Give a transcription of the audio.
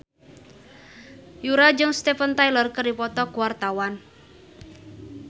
Yura jeung Steven Tyler keur dipoto ku wartawan